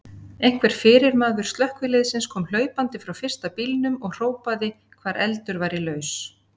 Einhver fyrirmaður slökkviliðsins kom hlaupandi frá fyrsta bílnum og hrópaði hvar eldur væri laus.